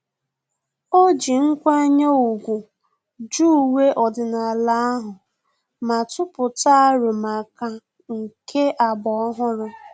Ọ ji nkwanye ùgwù jụ uwe ọdịnala ahụ, ma tụpụta arọ maka nke agba ọhụrụ